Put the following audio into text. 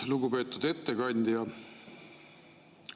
Lugupeetud ettekandja!